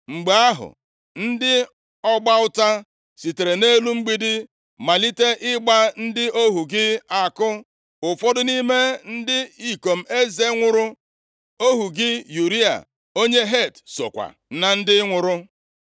Mgbe ahụ, ndị ọgba ụta sitere nʼelu mgbidi malite ịgba ndị ohu gị àkụ, ụfọdụ nʼime ndị ikom eze nwụrụ. Ohu gị Ụraya, onye Het, sokwa na ndị nwụrụ.”